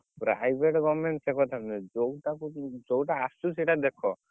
Private, government ସେ କଥା ନୁହେଁ ଯଉଟାକୁ, ଯଉଟା ଆସୁଛି ସେଇଟା ଦେଖ।